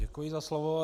Děkuji za slovo.